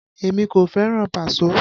Èmi kò fẹ́ràn Paso